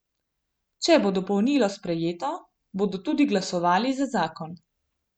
Če bo dopolnilo sprejeto, bodo tudi glasovali za zakon.